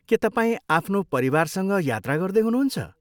के तपाईँ आफ्नो परिवारसँग यात्रा गर्दै हुनुहुन्छ?